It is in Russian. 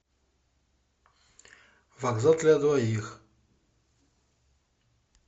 вокзал для двоих